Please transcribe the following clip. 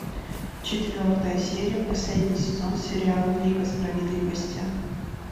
четвертая серия последний сезон сериал лига справедливости